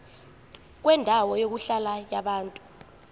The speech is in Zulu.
kwendawo yokuhlala yabantu